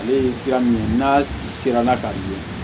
Ale ye fura min ye n'a sera k'a di